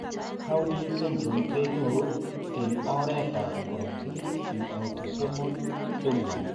Cowden syndrome kenyoru en oret ab korotik en autosomal dominant